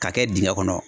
K'a kɛ dingɛ kɔnɔ